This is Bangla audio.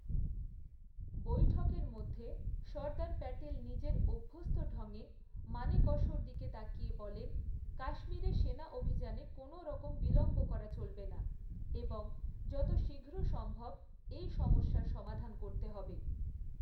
বৈঠকের মধ্যে সর্দার প্যাটেল নিজের অভ্যস্ত ঢংয়ে মানেকশ র দিকে তাকিয়ে বলেন, কাশ্মীরে সেনা অভিযানে কোনও রকম বিলম্ব করা চলবে না এবং যত শীঘ্র সম্ভব এই সমস্যার সমাধান করতে হবে।